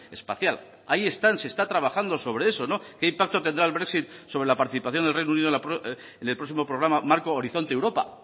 espacial ahí están se está trabajando sobre eso qué impacto tendrá el brexit sobre la participación del reino unido en el próximo programa marco horizonte europa